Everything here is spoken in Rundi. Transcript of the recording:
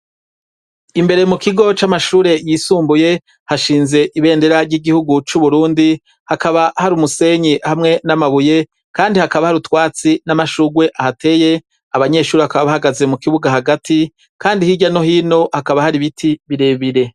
Imbere mu kigo c'amashure yisumbuye hashinze ibendera ry'igihugu c'Uburundi, hakaba hari umusenyi hamwe n'amabuye, kandi hakaba hari utwatsi n'amashurwe ahateye; abanyeshuri bakaba bahagaze mu kibuga hagati, kandi hirya no hino hakaba hari ibiti birebire.